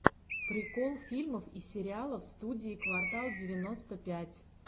прикол фильмов и сериалов студии квартал девяносто пять